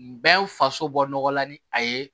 Bɛn faso bɔ nɔgɔla ni a ye